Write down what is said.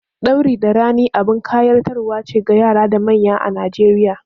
Ɗauri da rini abin ƙayatarwa ce ga yara da manya a Najeriya.